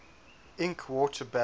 ink water balance